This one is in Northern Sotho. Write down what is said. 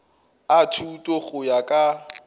a thuto go ya ka